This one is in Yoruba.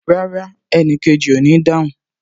Rárá, enikeji o ní dáhùn